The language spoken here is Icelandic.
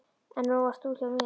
En nú ert þú hjá mér.